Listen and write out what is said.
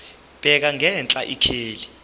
bheka ngenhla ikheli